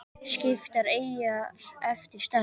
Skiptar eyjar eftir stærð